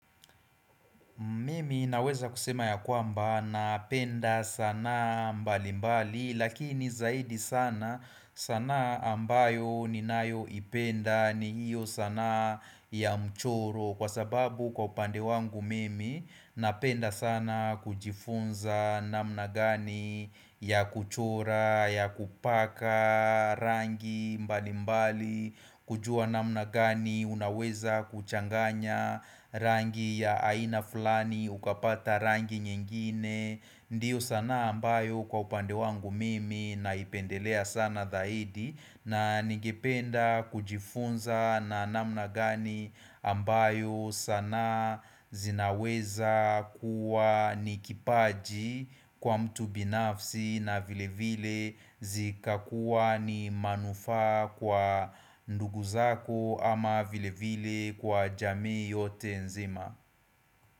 Mimi naweza kusema ya kwamba napenda sanaa mbali mbali lakini zaidi sana sanaa ambayo ninayoipenda ni hiyo sana ya mchoro. Kwa sababu kwa upande wangu mimi napenda sana kujifunza namna gani ya kuchora ya kupaka rangi mbali mbali kujua namna gani unaweza kuchanganya rangi ya aina fulani ukapata rangi nyingine Ndiyo sanaa ambayo kwa upande wangu mimi naipendelea sana tahidi na nigependa kujifunza na namna gani ambayo sana zinaweza kuwa nikipaji kwa mtu binafsi na vile vile zikakuwa ni manufaa kwa ndugu zako ama vile vile kwa jamii yote nzima.